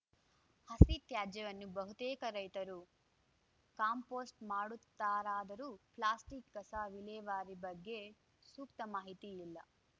ಹಸಿ ತ್ಯಾಜ್ಯವನ್ನು ಬಹುತೇಕ ರೈತರು ಕಾಂಪೋಸ್ಟ್‌ ಮಾಡುತ್ತಾರಾದರೂ ಪ್ಲಾಸ್ಟಿಕ್‌ ಕಸ ವಿಲೇವಾರಿ ಬಗ್ಗೆ ಸೂಕ್ತ ಮಾಹಿತಿ ಇಲ್ಲ